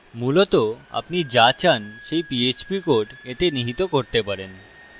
মূলত আপনি যা চান সেই php code এতে নিহিত করতে পারেন